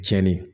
Jɛni